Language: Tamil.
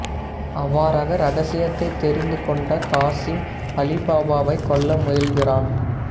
அவ்வாறாக ரகசியத்தை தெரிந்து கொண்ட காசிம் அலிபாபாவை கொல்ல முயல்கிறான்